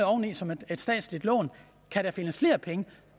oveni som et statsligt lån og kan der findes flere penge